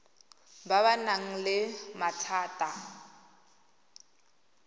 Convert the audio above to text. ba ba nang le mathata